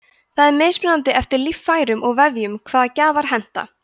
það er mismunandi eftir líffærum og vefjum hvaða gjafar henta